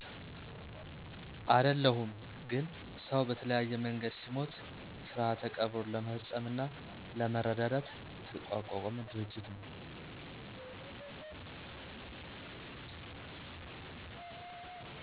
አደለሁም ግን ሰው በተለያየ መንገድ ሲሞት ስርዓተ ቀብሩን ለመፈፀምና ለመረዳዳት የተቋቋመ ድርጅት ነው።